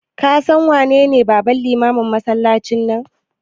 Ka san wanene babban limamin masallacin nan?